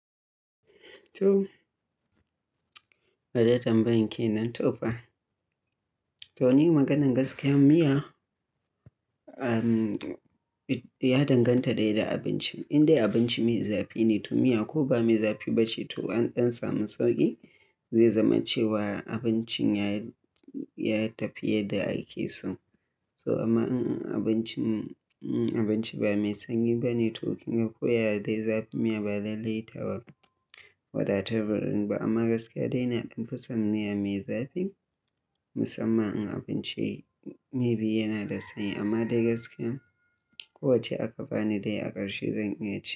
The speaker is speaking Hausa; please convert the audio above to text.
To, wadda tambayanki nan to fa. To ni maganan gaskiyan miya, um, y-- ya danganta da yadda abincin. Indai abinci me zafi ne to miya ko ba me zafi bace to an dan sanu sauki zai zama cewa abincin ya, ya tafi yadda ake so. To amma in-- in abincin, in abinci ba mai sanyi bane to kinga ko yaya dai zafin miya ba lallai tawa wadatar bar inba amma gaskiya dai na dan fi son miya me zafi musamman in abinci me bi yana da sanyi amma dai gaskiya ko wacce aka bani dai a ƙarshe zan iya ci.